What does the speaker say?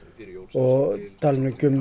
ég tala nú ekki um